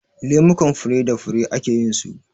Lemukan fure da fure ake yin su.